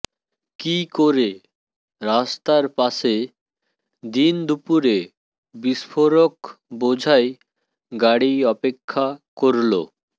কী করে রাস্তার পাশে দিন দুপুরে বিস্ফোরক বোঝাই গাড়ি অপেক্ষা করল